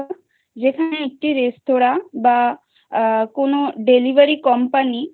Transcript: একটি courier পরিষেবা সেখানে একটি রেস্তোরাঁ বা আ কোন delivery company